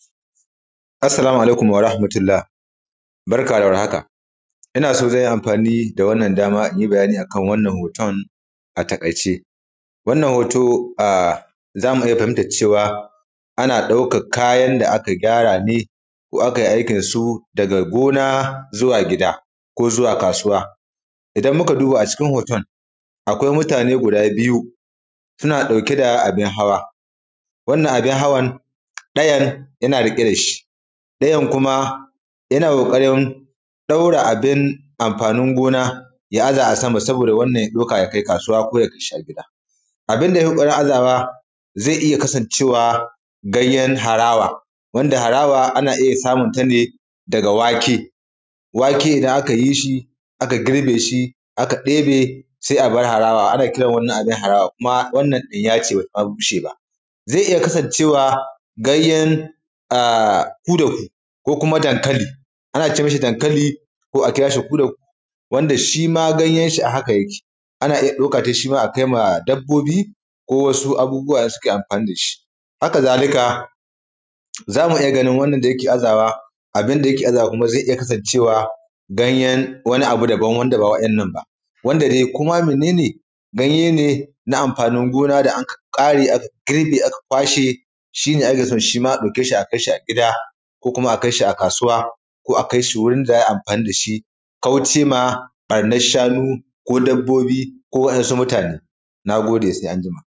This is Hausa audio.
Assalamu alaikum wa rahmatullah, barka da war haka ina so zan yi anfani da wannan dama in yi bayani a kan wannan hoton a taƙaice. Wannan hoto, a za mu iya fahimtar cewa ana ɗaukak kayan da aka gyara ne ko akai aikin su daga gona zuwa gida ko zuwa kasuwa. Idan muka duba a cikin hoton, akwai mutane guda biyu suna ɗauke da abin hawa, wannan abin hawan ɗayan yana riƙe da shi ɗayan kuma yana ƙoƙarin ɗaura abin anfanin gona ya aza a sama saboda wannan ya ɗauka ya kai kasuwa ko ya kai shi a gida. Abin da yai ƙoƙarin azawa ze iya kasancewa ganyen harawa wanda harawa ana iya samun ta ne daga wake. Wake idan aka yi shi aka girbe shi aka ɗebe, se a bar harawa, ana kiran wannan abin harawa kuma wannan ɗinya ce ba ta ma bushe ba. Ze iya kasancewa ganyen a kudaku ko kuma dankali, ana ce mishi dankali ko a kira shi kudaku wanda shi ma ganyan shi a haka yake, ana iya ɗauka tai shi ma a kai ma dabbobi ko wasu abubuwa da suke anfani da shi. Haka zalika, za mu iya ganin wannan da yake azawa, abin da yake azawa kuma zai iya kasancewa ganyen wani abu daban wanda ba wa'innan ba wanda dai ko ma mene ne, ganye ne na anfanin gona da anka ƙare aka girbe aka kwashe, shi ne ake so shi ma a ɗauke shi a kai shi a gida ko kuma a kai shi a kasuwa koko a kai shi wurin da za a yi anfani da shi ko kauce ma ƃannash shanu ko dabbobbi ko wa'yansu mutane, na gode, sai anjima.